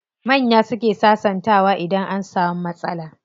Manya suke sasantawa idan an samu matsala.